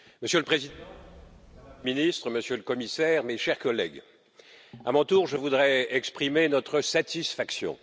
Monsieur le Président, Madame la Ministre, Monsieur le Commissaire, mes chers collègues, à mon tour, je voudrais exprimer notre satisfaction.